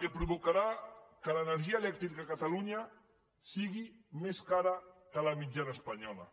que provocarà que l’energia elèctrica a catalunya sigui més cara que la mitjana espanyola